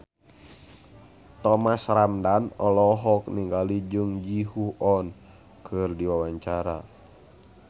Thomas Ramdhan olohok ningali Jung Ji Hoon keur diwawancara